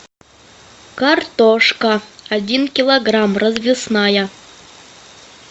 картошка один килограмм развесная